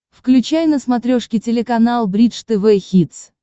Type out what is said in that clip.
включай на смотрешке телеканал бридж тв хитс